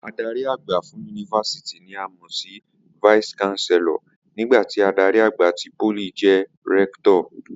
Adarí àgbà fún yunifásítì ni a mọ̀ sí vice chancellor nígbà tí adarí àgbà ti pólì jẹ́ rector